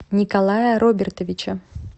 николая робертовича